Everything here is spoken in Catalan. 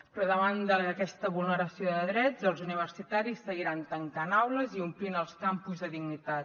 però davant d’aquesta vulneració de drets els universitaris seguiran tancant aules i omplint els campus de dignitat